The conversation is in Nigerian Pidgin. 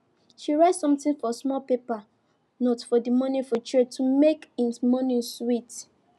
she write something for small paper note for the morning food tray to make him morning sweet